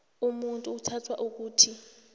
umuntu uthathwa ukuthi